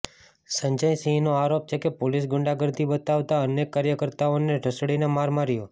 સંજય સિંહનો આરોપ છે કે પોલીસ ગુંડાગર્દી બતાવતા અનેક કાર્યકર્તાઓને ઢસડીને માર માર્યો